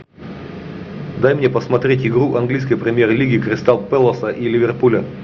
дай мне посмотреть игру английской премьер лиги кристал пэласа и ливерпуля